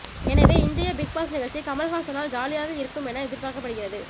எனவே இன்றைய பிக்பாஸ் நிகழ்ச்சி கமல்ஹாசனால் ஜாலியாக இருக்கும் என எதிர்பார்க்கப்படுகிறது